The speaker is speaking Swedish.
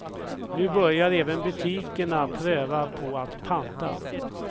Nu börjar även butikerna pröva på att panta.